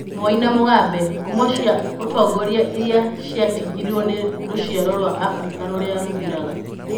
Moi na Mugabe: Ngumo cia ũtongoria iria ciatigirwo nĩ rũciaro rwa Afrika rũrĩa rũthiraga